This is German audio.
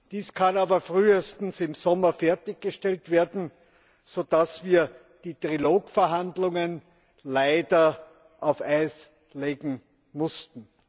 Dies kann aber frühestens im Sommer fertiggestellt werden, so dass wir die Trilogverhandlungen leider auf Eis legen mussten.